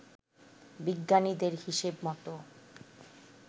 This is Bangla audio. বিজ্ঞানীদের হিসেব মতো